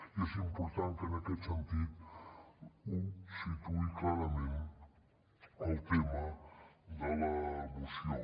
i és important que en aquest sentit ho situï clarament el tema de la moció